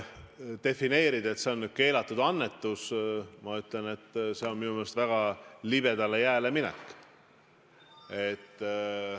Defineerida, et see on nüüd keelatud annetus – ma ütlen, et see on minu meelest väga libedale jääle minek.